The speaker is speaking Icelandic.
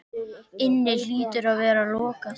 inni hlýtur að vera lokið.